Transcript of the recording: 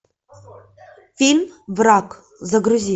фильм враг загрузи